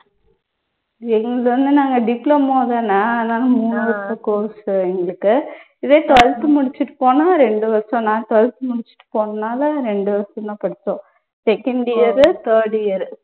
எங்களது வந்து நாங்க diploma தான அதனால மூணு வருஷ course உ எங்களுக்கு. இதே twelfth முடிச்சிட்டு போனா ரெண்டு வருஷம். நான் twelfth முடிச்சிட்டு போனதுனால ரெண்டு வருஷம் தான் படிச்சோம். second year உ third year உ